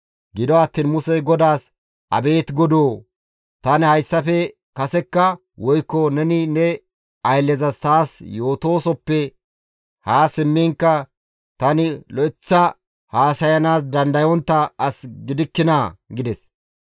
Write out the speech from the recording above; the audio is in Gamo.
Gido attiin Musey GODAAS, «Abeet Godoo! Tani hayssafe kasekka, woykko neni ne ayllezas taas yootoosoppe haa simmiinkka tani lo7eththa haasayanaas dandayontta as gidikkinaa?» gides.